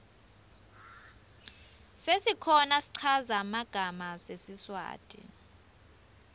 sesikhona schaza magama sesiswati